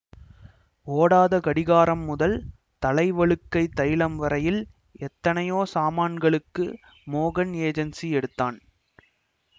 ஓடாத கடிகாரம் முதல் தலை வழுக்கைத் தைலம் வரையில் எத்தனையோ சாமானகளுக்கு மோகன் ஏஜென்ஸி எடுத்தான்